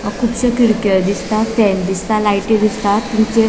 अ खुपशे खिडक्यो दिसता फैन दिसता लायटी दिसता --